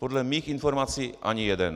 Podle mých informací ani jeden.